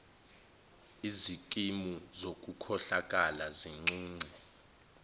izikimu zokukhohlakala zincunce